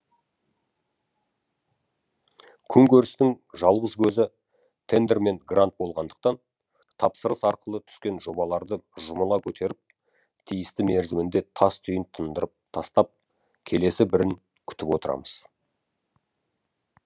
күнкөрістің жалғыз көзі тендер мен грант болғандықтан тапсырыс арқылы түскен жобаларды жұмыла көтеріп тиісті мерзімінде тас түйін тындырып тастап келесі бірін күтіп отырамыз